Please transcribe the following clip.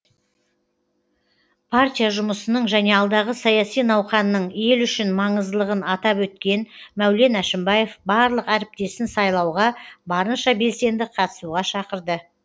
партия жұмысының және алдағы саяси науқанның ел үшін маңыздылығын атап өткен мәулен әшімбаев барлық әріптесін сайлауға барынша белсенді қатысуға шақырды